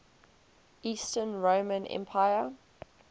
eastern roman empire